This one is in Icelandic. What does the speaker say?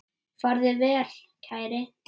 Farðu vel, kæri.